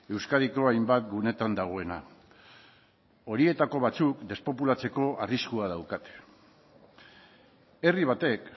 euskadiko hainbat guneetan dagoena horietako batzuk despopulatzeko arriskua daukate herri batek